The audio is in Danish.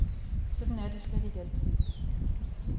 Sådan er det slet ikke altid.